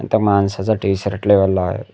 इथं माणसाचा टी_शर्ट लावलेला आहे.